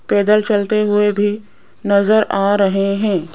पैदल चलते हुए भी नजर आ रहे हैं।